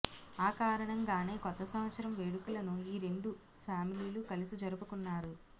ఆ కారణంగానే కొత్త సంవత్సరం వేడుకలను ఈ రెండు ఫ్యామిలీలు కలిసి జరుపుకున్నారు